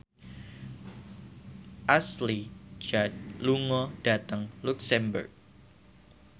Ashley Judd lunga dhateng luxemburg